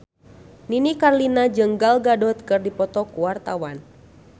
Nini Carlina jeung Gal Gadot keur dipoto ku wartawan